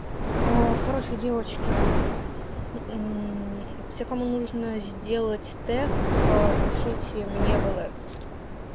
аа короче девочки мм все кому нужно сделать тест пишите мне в лс